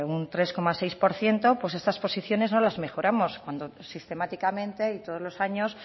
un tres coma seis por ciento pues estas posiciones no las mejoramos cuando sistemáticamente y todos los años